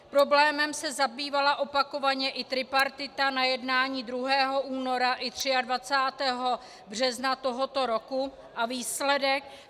Problémem se zabývala opakovaně i tripartita na jednání 2. února i 23. března tohoto roku - a výsledek?